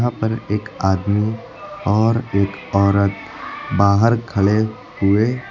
यहां पर एक आदमी और एक औरत बाहर खड़े हुए--